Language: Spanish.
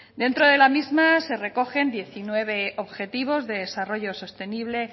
dentro de la misma se recogen diecinueve objetivos de desarrollo sostenible